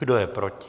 Kdo je proti?